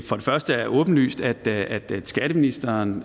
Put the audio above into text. første er åbenlyst at skatteministeren